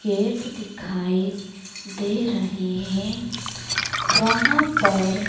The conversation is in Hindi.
गेट दिखाई दे रहे हैं वहां पर--